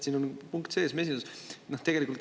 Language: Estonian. Siin on sees punkt mesinduse kohta.